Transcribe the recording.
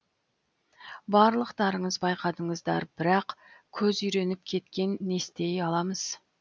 барлықтарыңыз байқадыңыздар бірақ көз үйреніп кеткен нестей аламыз